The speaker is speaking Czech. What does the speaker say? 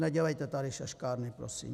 Nedělejte tady šaškárny prosím.